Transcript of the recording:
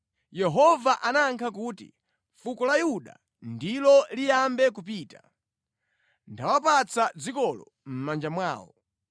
Yehova anayankha kuti, “Fuko la Yuda ndilo liyambe kupita. Ndawapatsa dzikolo mʼmanja mwawo.”